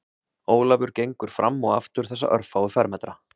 Ólafur gengur fram og aftur þessa örfáu fermetra